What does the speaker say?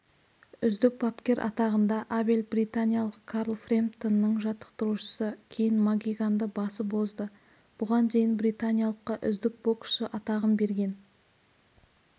үздік бапкер атағында абель британиялық карл фрэмптонның жаттықтырушысы шейн макгиганды басып озды бұған дейін британиялыққа үздік боксшы атағын берген